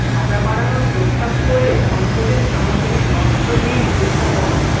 সাজা বাড়ানোর প্রস্তাব করে সংসদে সামুদ্রিক মৎস্য বিল উত্থাপন